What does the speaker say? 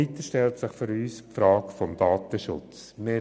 Weiter stellt sich die Frage des Datenschutzes.